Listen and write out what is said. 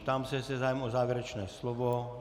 Ptám se, jestli je zájem o závěrečné slovo.